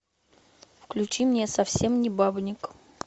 включи мне совсем не бабник